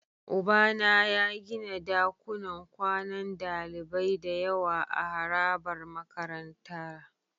Ubana ya gina dakunan kwanan dalibai da yawa a harabar makarantara.